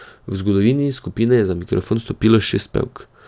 V zgodovini skupine je za mikrofon stopilo šest pevk.